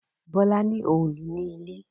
Bola ní Òòlù ní ilé.